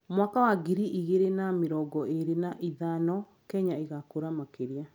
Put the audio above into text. Mwaka wa ngiri igĩrĩ na mĩrongo ĩĩrĩ na ithano, Kenya ĩgakũra makĩria.